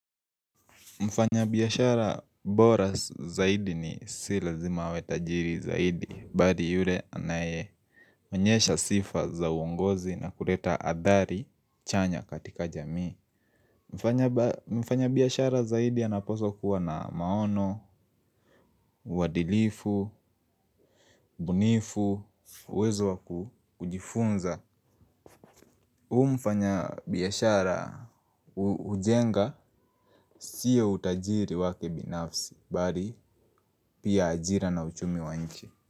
Mfanyabiashara bora zaidi si lazima awe tajiri zaidi. Bali yule anayeonyesha sifa za uongozi na kureta adhari chanya katika jamii mfanyabiashara zaidi anapaswa kuwa na maono, uadilifu, ubunifu, uwezo wa kujifunza. Umfanya biashara ujenga siya utajiri wake binafsi. Bari pia ajira na uchumi wa nchi.